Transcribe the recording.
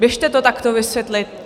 Běžte to takto vysvětlit.